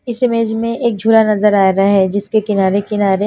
इस इमेज में एक झोला नजर आ रहा है जिसके किनारे किनारेये